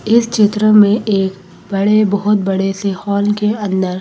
इस चित्र में एक बड़े बहोत बड़े से हॉल के अंदर--